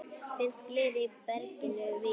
Finnst gler í berginu víða.